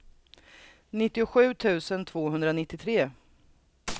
nittiosju tusen tvåhundranittiotre